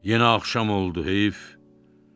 Yeni axşam oldu heyf.